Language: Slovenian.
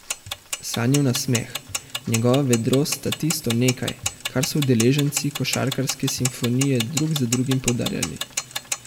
Sanijev nasmeh, njegova vedrost sta tisto nekaj, kar so udeleženci Košarkarske simfonije drug za drugim poudarjali.